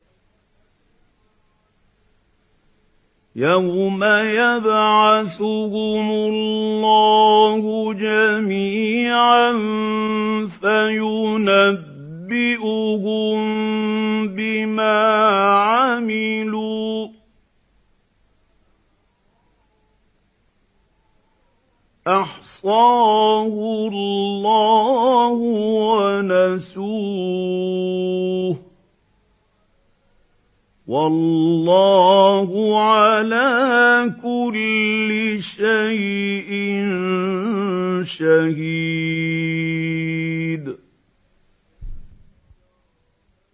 يَوْمَ يَبْعَثُهُمُ اللَّهُ جَمِيعًا فَيُنَبِّئُهُم بِمَا عَمِلُوا ۚ أَحْصَاهُ اللَّهُ وَنَسُوهُ ۚ وَاللَّهُ عَلَىٰ كُلِّ شَيْءٍ شَهِيدٌ